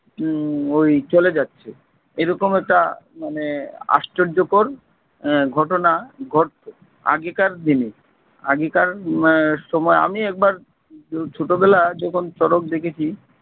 উম ওই চলে যাচ্ছে এরকম একটা মানে আশ্চর্যকর আহ ঘটনা ঘটতো আগেকার দিনে আগেকার উম সময় আমি একবার ছোটবেলা যখন শরৎ দেখেছি।